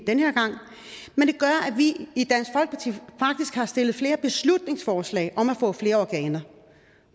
vi i flere beslutningsforslag om at få flere organer